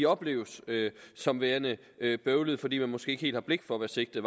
opleves som værende bøvlede fordi man måske ikke helt har blik for hvad sigtet